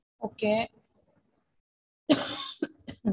Okay